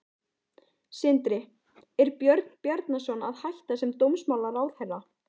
Sindri: Er Björn Bjarnason að hætta sem dómsmálaráðherra?